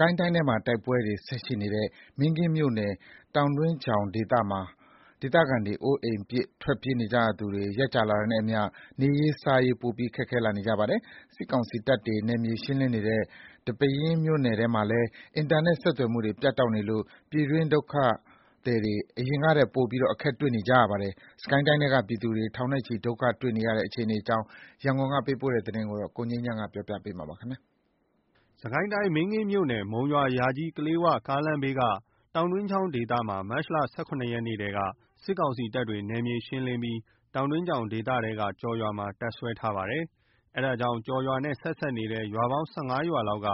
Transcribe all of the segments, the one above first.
ကိုင်းတိုင်းထဲမှာ တိုက်ပွဲတွေဆက်ရှိနေတဲ့ မင်းကင်းမြို့နယ် တောင်တွင်းချောင်ဒေသမှာ အိုးအိမ်ပစ် ထွက်ပြေးနေကြရသူတွေ ရက်ကြာလာတာနဲ့အမျှ နေရေး စားရေး ပိုပြီးခက်ခဲနေကြပါတယ်။ စစ်ကောင်စီတပ်တွေ နယ်မြေရှင်းလင်းနေတဲ့ ဒီပဲယင်း မြို့နယ်ထဲမှာလည်း အင်တာနက်ဆက်သွယ်မှုတွေ ပြတ်တောက်နေလို့ ပြည်တွင်း ဒုက္ခသည်တွေ အရင်ကထက် ပိုပြီးအခက်တွေ့နေပါတယ်။ စစ်ကိုင်းတိုင်းထဲက ပြည်သူ ထောင်နဲ့ချီ ဒုက္ခတွေ့နေတဲ့ အခြေအနေအကြောင်း ရန်ကုန်က ပေးပို့လာတဲ့သတင်းကို ကိုငြိမ်းချမ်းက တင်ပြပေးထားပါတယ်။ စစ်ကိုင်းတိုင်း မင်းကင်းမြို့နယ် မုံရွာ - ယာကြီး - ကလေးဝ ကားလမ်းဘေးက တောင်တွင်းချောင်ဒေသမှာ မတ်လ ၁၇ ရက်နေ့ထဲက စစ်ကောင်စီတပ်တွေ နယ်မြေရှင်းလင်းပြီး တောင်တွင်းချောင်ဒေသထဲက ကျော်ရွာမှာတပ်စွဲထားပါတယ်။ အဲဒါကြောင့် ကျော်ရွာနဲ့ ဆက်နေတဲ့ ရွာပေါင်း ၁၅ ရွာလောက်က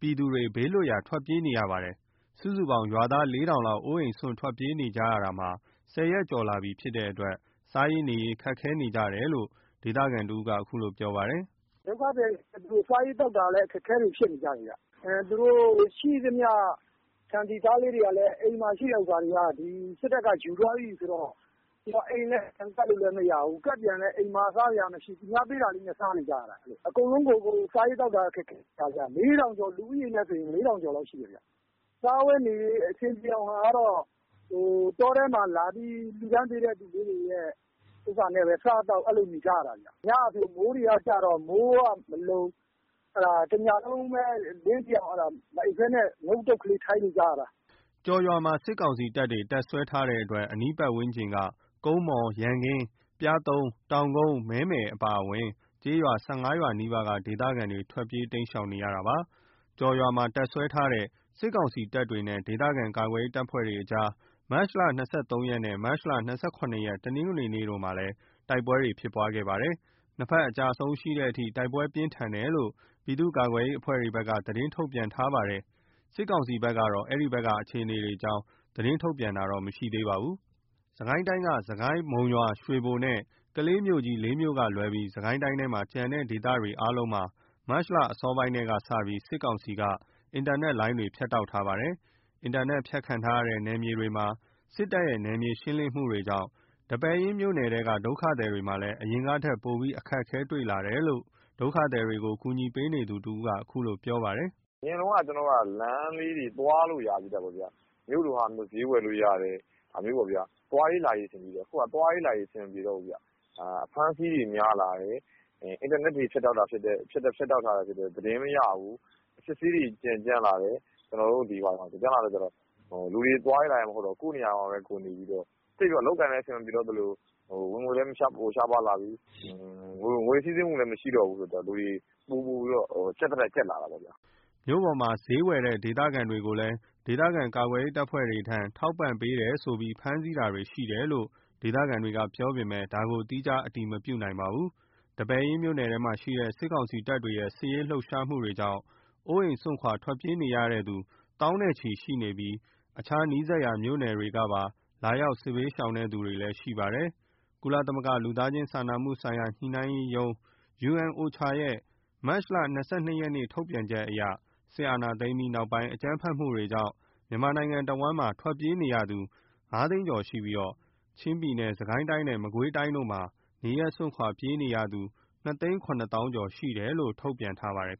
ပြည်သူ ဘေးလွတ်ရာ ထွက်ပြေးနေကြရပါတယ်။ စုစုပေါင်း ရွာသား ၄ ထောင်လောက် အိုးအိမ်းစွန့် ထွက်ပြေးနေကြရတာ ၁၀ ရက်ကျော်လာပြီဖြစ်တဲ့အတွက် စားရေး နေရေး ခက်ခဲနေကြတယ်လို့ ဒေသခံတဦးက အခုလိုပြောပါတယ်။ “ဒုက္ခသည်တွေက စားရေးသောက်တာတွေ အခက်အခဲတွေဖြစ်နေကြတယ်။ သူတို့ရှိသမျှ ဆန် ဆီ ဆားလေးတွေကလည်း အိမ်မှာရှိတဲ့ဟာတွေကလည်း စစ်တပ်က ယူသွားပြီဆိုတော့ အိမ်လည်း ပြန်ကပ်လို့လည်းမရဘူး။ ကပ်ပြန်ရင်လည်း အိမ်မှာ စားစရာမရှိ သူများပေးတာလေးနဲ့ စားနေကြရတာ။ အကုန်လုံးကို စားရေးသောက် တာ အခက်အခဲဖြစ်နေတာ။ လူဦးရေနဲ့ဆို ၄ ထောင်ကျော်လောက်ရှိမယ်။ စားဝတ်နေရေး အဆင်ပြေအောင်ကတော့ တောထဲမှာလာပြီးလှူတဲ့ဟာလေးတွေနဲ့ပဲ စားသောက်နေကြရတာ။ ညကဆို မိုးကကျတော့ မိုးတွေကမလုံ တညလုံးပဲ မအိပ်ဘဲ အလင်းထိအောင် ထိုင်နေကြရတာ။” ကျော်ရွာမှာ စစ်ကောင်စီတပ်တွေ တပ်စွဲထားတဲ့အတွက် အနီးပတ်ဝန်းကျင်က ကုန်းမော် ၊ ရန်ကင်း ၊ ပျားသုံး ၊ တောင်ကုန်း ၊ မဲမယ် အပါအဝင် ကျေးရွာ ၁၅ ရွာနီးပါးက ဒေသခံတွေက ထွက်ပြေးတိမ်းရှောင်နေရတာပါ။ ကျော်ရွာမှာ တပ်စွဲထားတဲ့ စစ်ကောင်စီတပ်တွေနဲ့ ဒေသခံကာကွယ်ရေး တပ်ဖွဲ့တွေကြားမှာလည်း မတ်လ ၂၃ ရက်နဲ့ မတ်လ ၂၇ ရက် တနင်္ဂနွေနေ့တို့မှာ တိုက်ပွဲတွေရှိခဲ့ပါတယ်။ ၂ ဖက် အကျအဆုံးရှိတဲ့အထိ တိုက်ပွဲပြင်းထန်တယ်လို့ ပြည်သူ့ကာကွယ်ရေးအဖွဲ့တွေဘက်က သတင်းထုတ်ပြန်ထားပါတယ်။ စစ်ကောင်စီဘက်ကတော့ အဲဒီဘက်ကအခြေအနေအကြောင်း သတင်းထုတ်ပြန်တာတော့မရှိသေးပါဘူး။ စစ်ကိုင်းတိုင်းက စစ်ကိုင်း၊ မုံရွာ ရွှေဘိုနဲ့ ကလေးမြို့ကြီး ၄ မြို့ကလွဲပြီး စစ်ကိုင်းတိုင်းထဲက ကျန်တဲ့ ဒေသတွေအားလုံးမှာ မတ်လ အစောပိုင်းထဲကစပြီး စစ်ကောင်စီက အင်တာနက်တွေလိုင်းတွေ ဖြတ်တောက်ထားပါတယ်။ အင်တာနက်ဖြတ်ခံထားရတဲ့ နယ်မြေတွေမှာ စစ်တပ်ရဲ့ နယ်မြေရှင်းလင်းမှုတွေကြောင့် ဒီပဲယင်းမြို့နယ်ထဲက ဒုက္ခသည်တွေမှာလည်း အရင်ကထက် ပိုပြီး အခက်တွေ့လာတယ်လို့ ဒုက္ခသည်တွေကို ကူညီပေးနေသူ တဦးက အခုလိုပြောပါတယ်။ “အရင်တုန်းက လမ်းလေးတွေ သွားလို့ရသေးတာပေါ့နော်။ မြို့လို့ဟာမျိုး ဈေးဝယ်လို့ရတယ်။ သွားရေးလာရေးပေါ့။ အခုက သွားရေးလာရေး အဆင်မပြေတော့ဘူး။ အဖမ်းအဆီးတွေ များလာတယ်။ အင်တာနက်တွေဖြတ်တောက်ထားတာ ဖြစ်တဲ့အတွက် သတင်းမရဘူး။ အစစ်အဆေးတွေကြမ်းလာတယ်။ လူတွေက သွားလို့လာလို့ မရတော့ဘဲ ကိုယ့်နေရာမှာပဲ ကိုယ်နေပြီးတော့ အလုပ်အကိုင်လည်း အဆင်မပြေတော့သလို ဝင်ငွေလည်းရှားပါးလာပြီး ငွေစီးဆင်းမှုမရှိတော့ဘူး။ ပိုပြီး ကြပ်သထက် ကြပ်လာတာပေါ့။” မြို့ပေါ်မှာ ဈေးတက်ဝယ်တဲ့ ဒေသခံတွေကို ဒေသခံကာကွယ်ရေး တပ်ဖွဲ့တွေထံ ထောက်ပံ့ပေးတယ်ဆိုပြီး ဖမ်းဆီးတာတွေရှိတယ်လို့ ဒေသခံတွေက ပြောပေမယ့် ဒါကိုတော့ သီးခြား အတည်မပြုနိုင်ပါဘူး။ ဒီပဲယင်းမြို့နယ်ထဲမှာ စစ်ကောင်စီတပ်တွေရဲ့ စစ်ရေးလှုပ်ရှားမှုတွေကြောင့် အိုးအိမ်စွန့် ထွက်ပြေးနေကြရသူတွေ သောင်းနဲ့ချီရှိပြီး အခြား နီးစပ်ရာ မြို့နယ်တွေကပါ လာရောက် စစ်ဘေးရှောင်သူတွေ ရှိပါတယ်။ ကုလသမဂ္ဂ လူသားချင်း စာနာမှုဆိုင်ရာ ညှိနှိုင်းရေးရုံး (OCHA) ရဲ့ မတ် ၂၂ ရက်က ထုတ်ပြန်ချက်အရ စစ်တပ်အာဏာသိမ်းပြီးနောက်ပိုင်း အကြမ်းဖက်တွေကြောင့် မြန်မာနိုင်ငံ တဝှမ်းလုံးမှာထွက်ပြေးနေရသူ ၅ သိန်းကျော်ရှိပြီး ချင်းပြည်နယ်၊ စစ်ကိုင်းတိုင်းနဲ့ မကွေးတိုင်းတို့မှာ နေရပ်စွန့်ခွါထွက်ပြေးသူ ၂ သိန်း ၇ သောင်းကျော် (၂ ၇၂,၉၀၀) ရှိတယ်လို့ ထုတ်ပြန်ထားပါတယ်